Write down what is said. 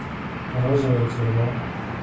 розовая тюрьма